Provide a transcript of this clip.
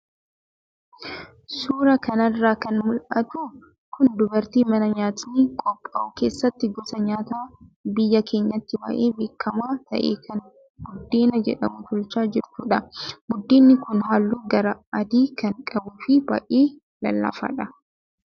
Suuraa kanarraa kan mul'atu kun dubartii mana nyaatni qophaa'u keessatti gosa nyaataa biyya keenyatti baay'ee beekamaa ta'e kan buddeena jedhamu tolchaa jirtudha. Buddeenni kun halluu gara adii kan qabuu fi baay'ee lallaafaadha.